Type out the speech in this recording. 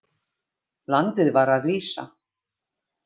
Landið var að rísa.